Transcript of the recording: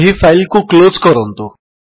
ଏହି ଫାଇଲ୍ କୁ କ୍ଲୋଜ୍ କରନ୍ତୁ